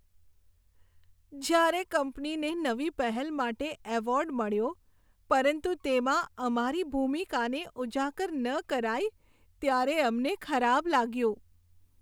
જ્યારે કંપનીને નવી પહેલ માટે એવોર્ડ મળ્યો, પરંતુ તેમાં અમારી ભૂમિકાને ઉજાગર ન કરાઈ, ત્યારે અમને ખરાબ લાગ્યું.